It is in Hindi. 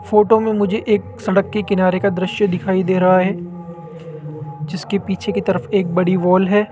फोटो में मुझे एक सड़क के किनारे का दृश्य दिखाई दे रहा है जिसके पीछे की तरफ एक बड़ी वॉल है।